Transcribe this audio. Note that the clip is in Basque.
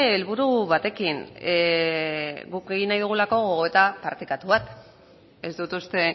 helburu batekin guk egin nahi dugulako gogoeta partekatu bat ez dut uste